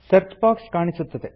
search box ಕಾಣಿಸುತ್ತದೆ